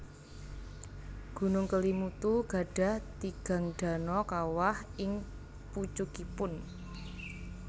Gunung Kelimutu gadhah tigang dano kawah ing pucukipun